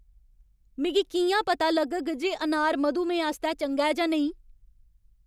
मिगी कि'यां पता लग्गग जे अनार मधुमेह आस्तै चंगा ऐ जां नेईं?